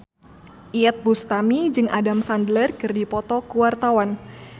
Iyeth Bustami jeung Adam Sandler keur dipoto ku wartawan